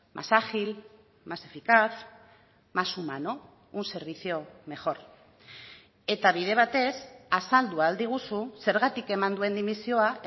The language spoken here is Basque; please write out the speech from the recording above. más ágil más eficaz más humano un servicio mejor eta bide batez azaldu ahal diguzu zergatik eman duen dimisioa